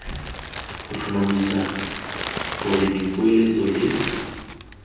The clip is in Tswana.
go tlhomamisa gore dipoeletso le